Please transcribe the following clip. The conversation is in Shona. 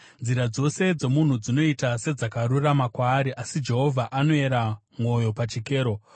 Nzira dzose dzomunhu dzinoita sedzakarurama kwaari, asi Jehovha anoyera mwoyo pachikero.